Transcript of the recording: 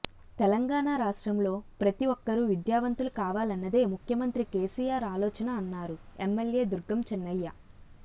తెలంగాణ రాష్ట్రంలో ప్రతి ఒక్కరు విద్యావంతులు కావలన్నదే ముఖ్యమంత్రి కేసీఆర్ ఆలోచన అన్నారు ఎమ్మెల్యే దుర్గం చిన్నయ్య